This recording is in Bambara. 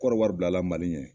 Kɔdiwari bilala Mali ɲɛ